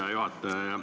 Hea juhataja!